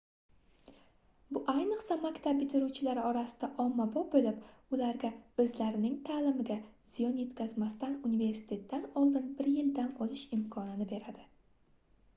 bu ayniqsa maktab bitiruvchilari orasida ommabop boʻlib ularga oʻzlarining taʼlimiga ziyon yetkazmasdan universitetdan oldin bir yil dam olish imkonini beradi